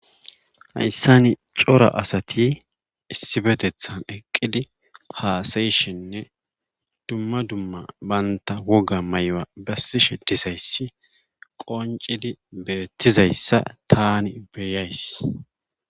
Hayssani cora asati issifetethan eqqid haasayoshenne dumma dumma bantta woga mayuwa bessishe dizayssi qonccidi beettizayssi tani beyays.